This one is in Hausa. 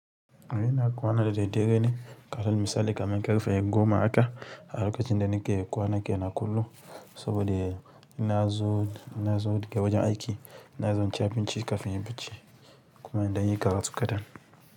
Ina kwana da dare ne, kamar misali kamar ƙarfe goma haka, a lokacin da nike kwana kenan kullum, saboda in nazo, in nazo daga wajen aiki, ina zuwa in ci abinci kafin in yi bacci kuma in ɗan yi karatu kaɗan.